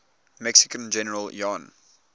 mexican general juan